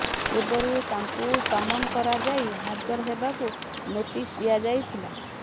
ପୂର୍ବରୁ ତାଙ୍କୁ ସମନ କରାଯାଇ ହାଜର ହେବାକୁ ନୋଟିସ ଦିଆ ଯାଇଥିଲା